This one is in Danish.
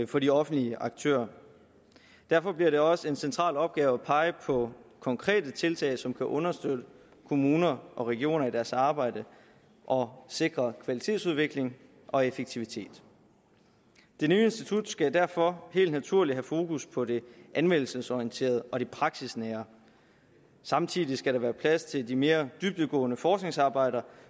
for de offentlige aktører derfor bliver det også en central opgave at pege på konkrete tiltag som kan understøtte kommuner og regioner i deres arbejde og sikre kvalitetsudvikling og effektivitet det nye institut skal derfor helt naturligt have fokus på det anvendelsesorienterede og det praksisnære samtidig skal der være plads til de mere dybdegående forskningsarbejder